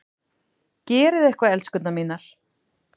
Gerið eitthvað, elskurnar mínar!